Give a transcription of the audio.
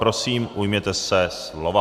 Prosím, ujměte se slova.